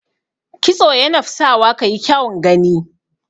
Kitso yanap sawa ka yi kyaun gani.